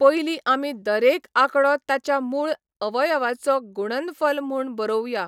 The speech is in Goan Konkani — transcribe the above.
पयलीं आमी दरेक आंकडो ताच्या मूळ अवयवाचो गुणनफल म्हूण बरोवया.